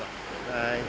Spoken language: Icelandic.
nei